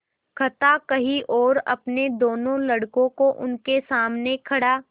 कथा कही और अपने दोनों लड़कों को उनके सामने खड़ा